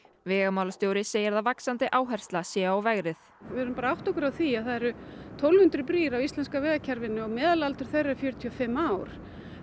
vegamálastjóri segir að vaxandi áhersla sé á vegrið við þurfum að átta okkur á því að það eru tólf hundruð brýr á íslenska vegakerfinu og meðalaldur þeirra er fjörutíu og fimm ár